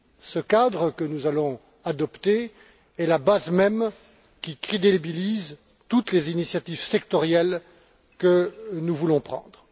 Ce cadre, que nous allons adopter, est la base même qui crédibilise toutes les initiatives sectorielles que nous voulons prendre.